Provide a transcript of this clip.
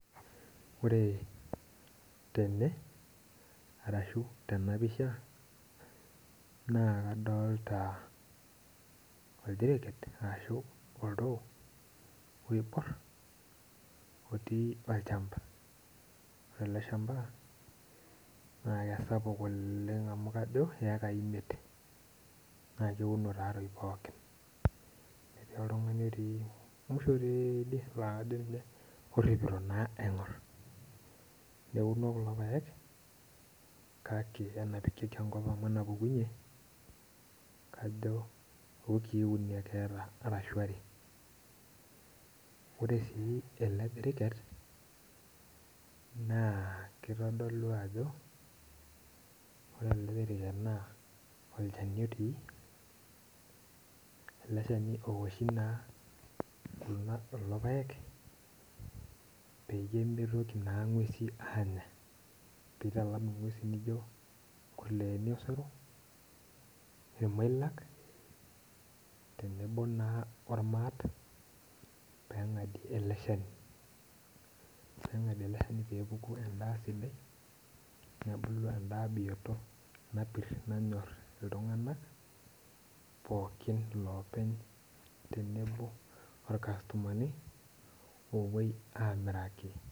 Ore tene, arashu tenapisha, na kadolta oldiriket arashu oltoo oibor, otii olchamba. Ore ele shamba, na kesapuk oleng amu kajo iekai imiet. Na keuno tatoi pookin. Etii oltung'ani otii musho teeidie na kajo ninye orripito naa aing'or. Neuno kulo paek, kake enapikieki enkop amu enapukunye, kajo iukii uni ake eeta arashu are. Ore si ele diriket, naa kitodolu ajo, ore ele diriket naa olchani otii, ele shani oshi naa kulo paek, peyie mitoki naa ng'uesin aanya. Pitalam ing'uesi nijo inkurleeni osero, irmoilak, tenebo naa ormaat, peng'adie ele shani. Peng'adie ele shani pepuku endaa sidai, nebulu endaa bioto napir nanyor iltung'anak, pookin lopeny tenebo orkastomani, opoi amiraki.